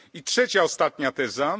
I trzecia, ostatnia teza.